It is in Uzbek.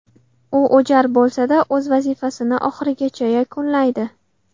U o‘jar bo‘lsa-da, o‘z vazifasini oxirigacha yakunlaydi.